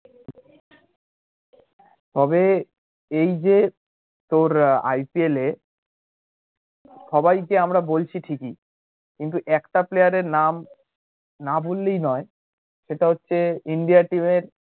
তবে এই যে তোর IPL এ সবাই যে আমরা বলছি ঠিকই কিন্তু একটা player এর নাম না বললেই নয় সেটা হচ্ছে ইন্ডিয়া team এর